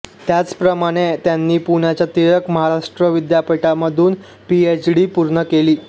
त्याचप्रमाणे त्यांनी पुण्याच्या टिळक महाराष्ट्र विद्यापीठामधून पी एचडी पूर्ण केली